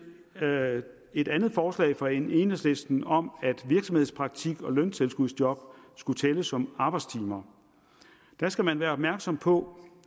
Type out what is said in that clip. et andet forslag fra enhedslisten om at virksomhedspraktik og løntilskudsjob skulle tælle som arbejdstimer skal man være opmærksom på